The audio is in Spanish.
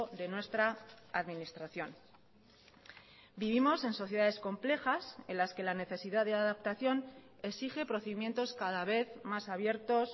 de nuestra administración vivimos en sociedades complejas en las que la necesidad de adaptación exige procedimientos cada vez más abiertos